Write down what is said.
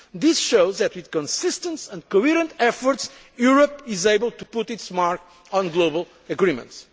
this matter. This shows that, with consistence and coherent efforts, Europe is able to put its mark on global